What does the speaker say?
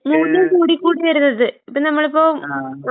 ആഹ്.